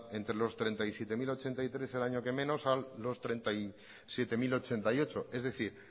entre los treinta y siete mil ochenta y tres el año que menos a los treinta y siete mil ochenta y ocho es decir